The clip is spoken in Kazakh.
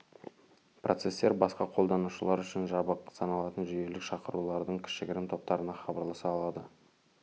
процестер басқа қолданушылар үшін жабық саналатын жүйелік шақырулардың кішігірім топтарына хабарласа алады